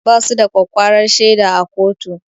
Basu da ƙwaƙƙwarar shaida a kotu